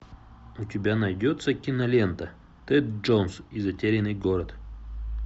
у тебя найдется кинолента тэд джонс и затерянный город